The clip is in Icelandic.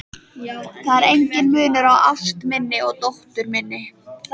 Það er enginn munur á ást minni og dóttur minnar.